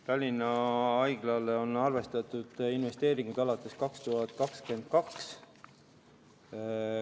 Tallinna Haiglale on arvestatud investeeringuid alates 2022. aastast.